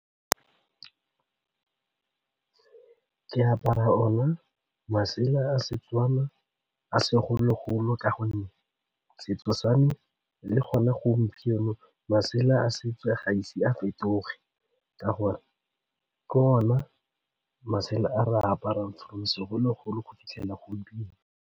Ke apara ona masela a Setswana a segologolo ka gonne setso sa me le gone gompieno masela a setso ga ise a fetoge ka gore ke ona masela a re apara from segologolo go fitlhelela gompieno.